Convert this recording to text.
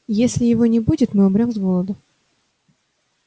если его не будет мы умрём с голоду